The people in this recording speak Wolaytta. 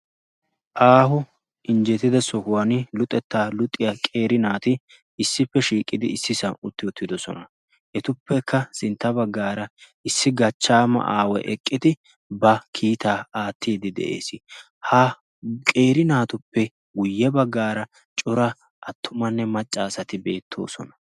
aaho injjetida sohuwan luxettaa luxiya qeeri naati issippe shiiqidi issi san utti uttidosona etuppekka sintta baggaara issi gachchaama aaway eqqidi ba kiitaa aattiidi de'ees ha qeeri naatuppe guyye baggaara cora attumanne maccaasati beettoosona